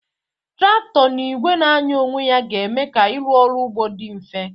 Traktọ na igwe na-anya onwe ya ga eme ka irụ ọrụ ugbo di mfe.